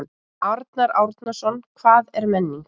Arnar Árnason: Hvað er menning?